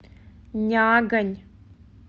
нягань